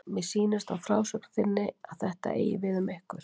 Mér sýnist á frásögn þinni að þetta eigi við um ykkur.